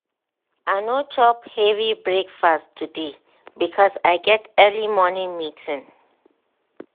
i no chop heavy breakfast today because i get early morning meeting.